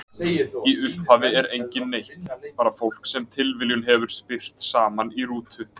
Í upphafi er enginn neitt, bara fólk sem tilviljunin hefur spyrt saman í rútu.